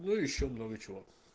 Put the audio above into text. ну ещё много чего